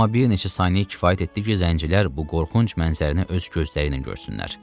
Amma bir neçə saniyə kifayət etdi ki, zəncilər bu qorxunc mənzərəni öz gözləriylə görsünlər.